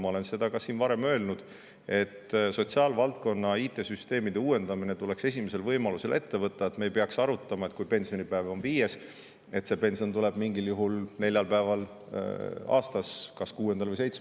Ma olen seda siin ka varem öelnud, et sotsiaalvaldkonna IT-süsteemide uuendamine tuleks esimesel võimalusel ette võtta, et me ei peaks arutama, et pensionipäev on 5., aga see pension tuleb mingil juhul, neljal päeval aastas, kas 6. või 7.